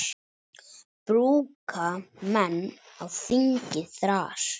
Brúka menn á þingi þras.